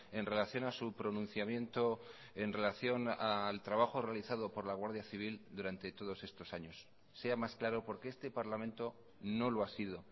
en relación a su pronunciamiento en relación al trabajo realizado por la guardia civil durante todos estos años sea más claro porque este parlamento no lo ha sido